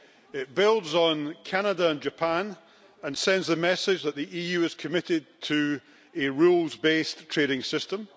It builds on Canada and Japan and sends the message that the EU is committed to a rules based trading system.